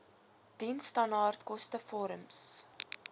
diensstandaard koste vorms